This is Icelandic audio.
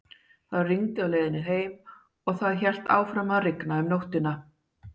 Það rigndi á leiðinni heim og það hélt áfram að rigna um nóttina.